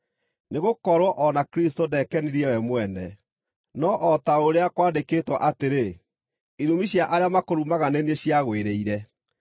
Nĩgũkorwo o na Kristũ ndekenirie we mwene, no o ta ũrĩa kwandĩkĩtwo atĩrĩ: “Irumi cia arĩa makũrumaga nĩ niĩ ciagwĩrĩire.”